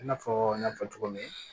I n'a fɔ n y'a fɔ cogo min